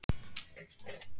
Leifur Geir.